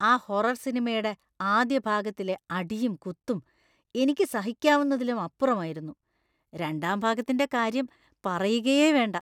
ആ ഹൊറർ സിനിമയുടെ ആദ്യ ഭാഗത്തിലെ അടിയും കുത്തും എനിക്ക് സഹിക്കാവുന്നതിലും അപ്പുറമായിരുന്നു; രണ്ടാം ഭാഗത്തിൻ്റെ കാര്യം പറയുകയേ വേണ്ട.